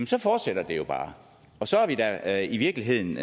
så fortsætter det jo bare og så er vi da i virkeligheden